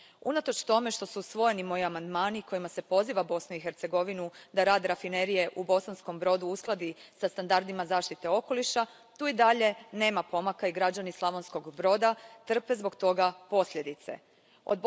Unatoč tome što su usvojeni moji amandmani kojima se poziva Bosnu i Hercegovinu da rad rafinerije u Bosanskom Brodu uskladi sa standardima zaštite okoliša, tu i dalje nema pomaka i građani Slavonskog Broda trpe posljedice zbog toga.